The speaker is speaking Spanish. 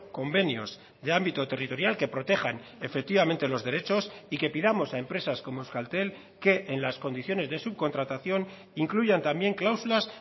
convenios de ámbito territorial que protejan efectivamente los derechos y que pidamos a empresas como euskaltel que en las condiciones de subcontratación incluyan también cláusulas